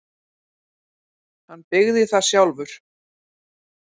Hann byggði það sjálfur.